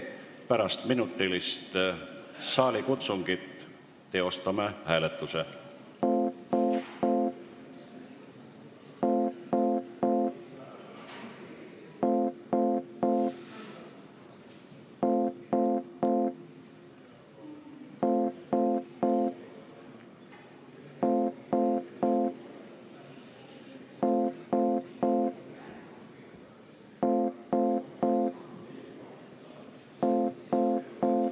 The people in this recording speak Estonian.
Pärast minutilist saalikutsungit teostame hääletuse.